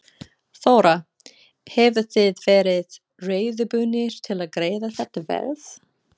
Þóra: Hefðuð þið verið reiðubúnir til að greiða þetta verð?